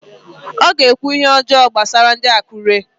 O ga-ekwu ihe ọjọọ gbasara ndị Akụre